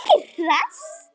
Ertu ekki hress?